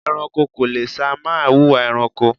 ẹranko kò le sàì má wùwà ẹranko